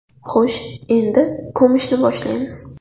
Xo‘sh, endi ko‘mishni boshlaymiz.